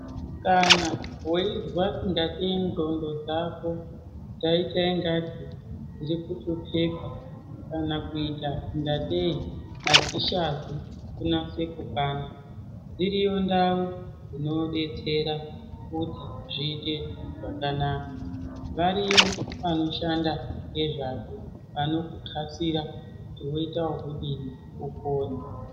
Kana weizwa ingatei ndxondo dzako dzaita ingati dziri kuhlupheka, kana kuita ngatei adzichazi kunase kukwana, dziriyo ndau dzinodetsera kuti zviite zvakanaka. Variyo vanoshanda ngezvazvo, vanokuxasira kuti woita okudini upone.